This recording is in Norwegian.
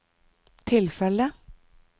tilfellet